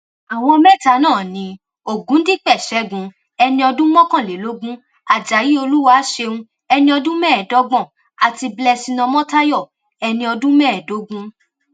àwọn mẹta náà ni ọgùndípè ṣẹgun ẹni ọdún mọkànlélógún ajayi olúwàṣẹun ẹni ọdún mẹẹẹdọgbọn àti blessing ọmọtáyò ẹni ọdún mẹẹẹdógún